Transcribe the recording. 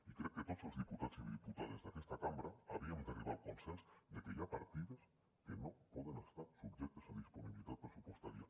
i crec que tots els diputats i diputades d’aquesta cambra havíem d’arribar al consens de que hi ha partides que no poden estar subjectes a disponibilitat pressupostària